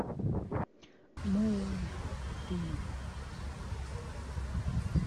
муллфри